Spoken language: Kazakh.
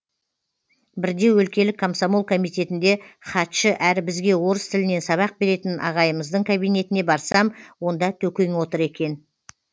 бірде өлкелік комсомол комитетінде хатшы әрі бізге орыс тілінен сабақ беретін ағайымыздың кабинетіне барсам онда төкең отыр екен